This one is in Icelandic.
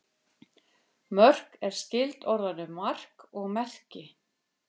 Mörk er skyld orðunum mark og merki.